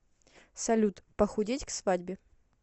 салют похудеть к свадьбе